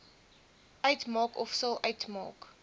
uitmaak ofsal uitmaak